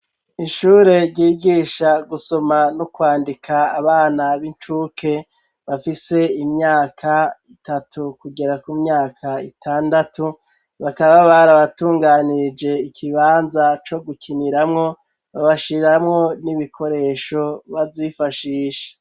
Ishure ryigisha gusoma no kwandika abana b'incuke, bafise imyaka itatu kugera ku myaka itandatu, bakaba barabatunganirje ikibanza co gukiniramwo babashiriramwo n'ibikoresho bazifashisha.